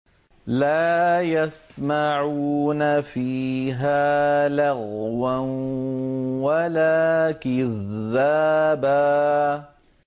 لَّا يَسْمَعُونَ فِيهَا لَغْوًا وَلَا كِذَّابًا